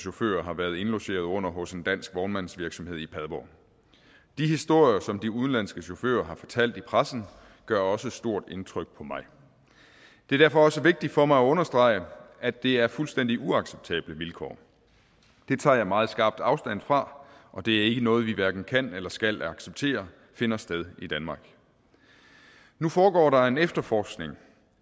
chauffører har været indlogeret under hos en dansk vognmandsvirksomhed i padborg de historier som de udenlandske chauffører har fortalt i pressen gør også stort indtryk på mig det er derfor også vigtigt for mig at understrege at det er fuldstændig uacceptable vilkår dem tager jeg meget skarpt afstand fra og det er ikke noget vi hverken kan eller skal acceptere finder sted i danmark nu foregår der en efterforskning